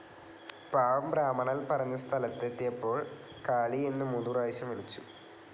പാവം ബ്രാഹ്മണൽ‌ പറഞ്ഞ സ്ഥലത്തെത്തിയപ്പോൾ‌ കാളീ എന്ന് മൂന്ന് പ്രാവശ്യം വിളിച്ചു.